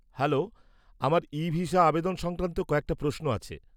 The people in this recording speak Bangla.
হ্যালো, আমার ইভিসা আবেদন সংক্রান্ত কয়েকটা প্রশ্ন আছে।